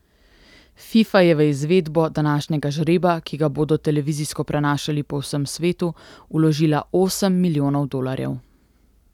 Fifa je v izvedbo današnjega žreba, ki ga bodo televizijsko prenašali po vsem svetu, vložila osem milijonov dolarjev.